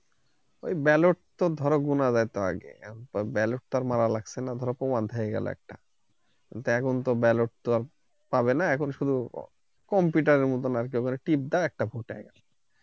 ঐ ballot তো ধরো গোনা যেত আগে ballot টা মারা লাগছে না প্রমাণ হয়ে গেলো একটা এখন তো ballot তো পাবে না এখন শুধু computer র মতোন আরকি খালি টিপ দেয় আর একটা vote হয়